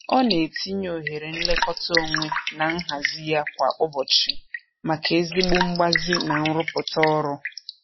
Ọ na-etinye ohere nlekọta onwe na nhazị ya kwa ụbọchị maka ezigbo mgbazi na nrụpụta ọrụ.